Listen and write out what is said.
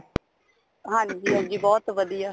ਹਾਂਜੀ ਹਾਂਜੀ ਬਹੁਤ ਵਧੀਆ